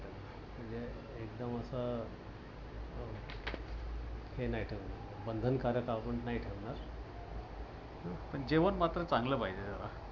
म्हणजे एकदम अस बंधन कारक आपण नाही ठेवणार. पण जेवण मात्र चांगल पाहिजे जरा.